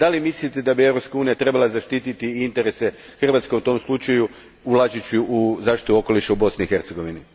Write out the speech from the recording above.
Mislite li da bi Europska unija trebala zaštititi interese Hrvatske u tom slučaju ulažući u zaštitu okoliša u Bosni i Hercegovini?